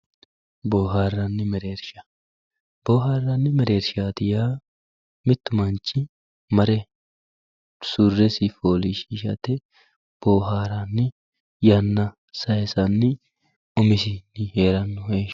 boohaarranni mereersha boohaarranni mereershaati yaa mittu manchi mare surresi fooliishshiishate mare boohaaranni yanna sayiisanni umisinni heeranno heeshshooti.